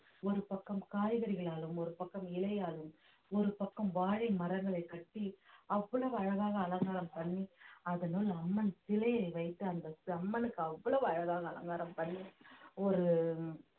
ஒரு பக்கம் காய்கறிகளாலும் ஒரு பக்கம் இலையாலும் ஒரு பக்கம் வாழை மரங்களை கட்டி அவ்வளவு அழகாக அலங்காரம் பண்ணி அதனுள் அம்மன் சிலையை வைத்து அந்த அம்மனுக்கு அவ்வளவு அழகாக அலங்காரம் பண்ணி ஒரு